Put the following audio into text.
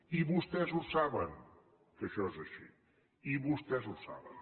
i vostès ho saben que això és així i vostès ho saben